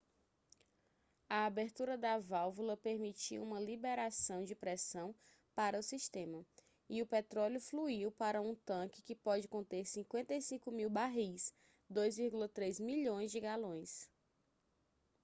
a abertura da válvula permitiu uma liberação de pressão para o sistema e o petróleo fluiu para um tanque que pode conter 55.000 barris 2,3 milhões de galões